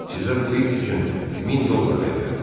Sizə bu it üçün 1000 dollar verirəm.